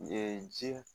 ji